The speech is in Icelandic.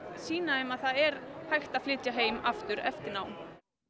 sýna þeim að það er hægt að flytja heim aftur eftir nám